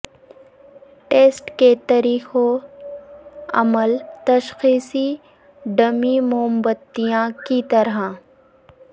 test کے طریقوں عمل تشخیصی ڈمی موم بتیاں کی طرح